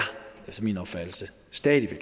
efter min opfattelse stadig